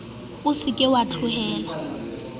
o se ke wa tlohela